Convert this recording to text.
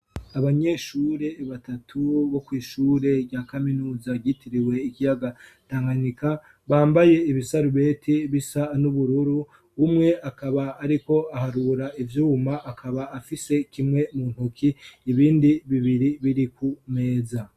Abanyeshure batatu bo kw'ishure rya kaminuza ryitiriwe ikiyaga tanganika bambaye ibisarubeti bisa n'ubururu bumwe akaba ariko aharura ivyuma akaba afise kimwe mu ntuki ibindi bibiri biri ku meza.